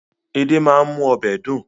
Edé máa ń mú ọbẹ̀ dùn